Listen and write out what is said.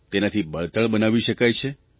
તેનાથી બળતણ બનાવી શકાય છે